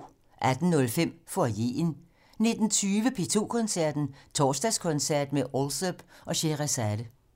18:05: Foyeren 19:20: P2 Koncerten - Torsdagskoncert med Alsop og Sheherazade